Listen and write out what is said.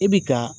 I bi ka